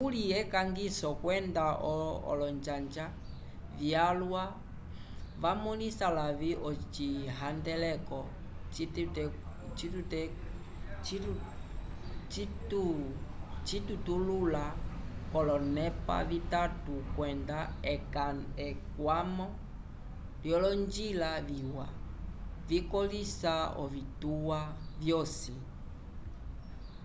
kuli ekangiso kwenda olonjanja vyalwa vamõlisa lavĩ ocihandeleko citetulula k'olonepa vitatu kwenda ekwamo lyolonjila viwa vikõlisa ovituwa vyosi